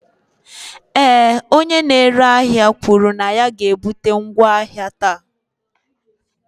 ee, onye na-ere ahịa kwuru na ya ga-ebute ngwa ahịa taa